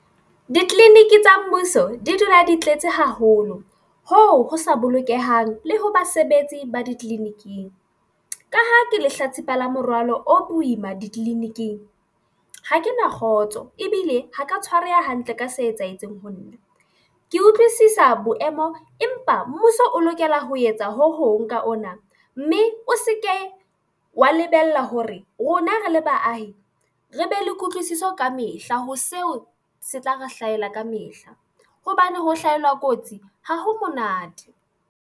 Ditleliniki tsa mmuso di dula di tletse haholo hoo ho sa bolokehang le ho basebetsi ba ditleliniking ha ke lehlatsipa la morwalo o boima ditleliniking ha ke na kgotso ebile ha ke ya tshwareha hantle ka se etsahetseng ho nna. Ke utlwisisa boemo empa mmuso o lokela ho etsa ho hong ka ona mme o se ke wa lebella hore rona re le baahi re be le kutlwisiso ka mehla ho seo se tla re hlahela kamehla hobane ho hlahelwa ke kotsi. Ha ho monate